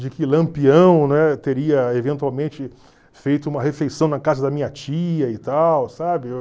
De que Lampião, né, teria eventualmente feito uma refeição na casa da minha tia e tal, sabe?